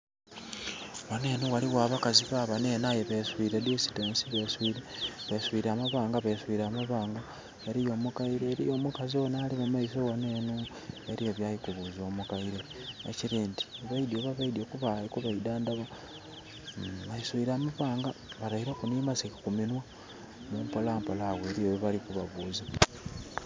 Ghano enho ghaligho abakazi, babano enho aye beswile distance, beswile amabanga, beswile amabanga. Eliyo omukaile, eliyo omukazi onho ali mu maiso ghano enho, eliyo byali kubuuza omukaile. Ekiri nti baidhye, oba baidhye okuba idhandhaba. Beswile amabanga, bataileku nhi mask ku minhwa. Mpola mpola agho eliyo byebali kubabuuza.